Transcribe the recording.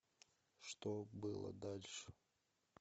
что было дальше